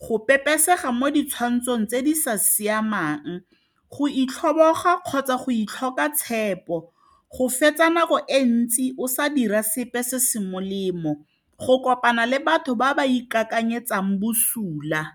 go pepesega mo ditshwantsho tse di sa siamang, go itlhoboga kgotsa go itshoka tshepo. Go fetsa nako e ntsi o sa dira sepe se se molemo, go kopana le batho ba ba ikakanyetsang bosula.